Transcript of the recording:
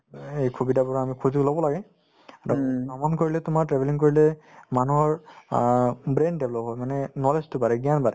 এই সুবিধাবোৰ আমি সুযোগ লব লাগে ভ্ৰমণ তোমাৰ travelling কৰিলে মানুহৰ অ brain develop হয় মানে knowledge তো বাঢ়ে জ্ঞান বাঢ়ে